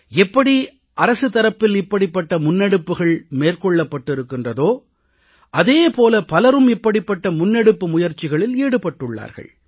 எப்படி அரசு தரப்பில் இப்படிப்பட்ட முன்னெடுப்புக்கள் மேற்கொள்ளப் பட்டிருக்கின்றதோ அதே போல பலரும் இப்படிப்பட்ட முன்னெடுப்பு முயற்சிகளில் ஈடுபட்டுள்ளார்கள்